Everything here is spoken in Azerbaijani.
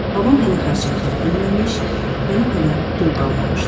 Babam hələ xərçəngdən ölməmiş, nənəm hələ dul qalmamışdı.